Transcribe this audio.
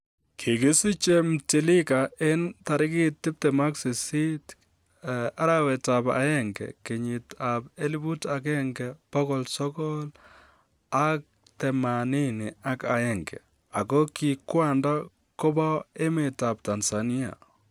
Kigisiche Mtiliga en tarigit 28 Jan 1981, ago ki kwanda kobo emetab Tanzania.